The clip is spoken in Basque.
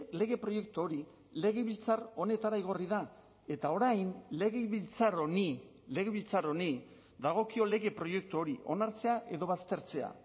lege proiektu hori legebiltzar honetara igorri da eta orain legebiltzar honi legebiltzar honi dagokio lege proiektu hori onartzea edo baztertzea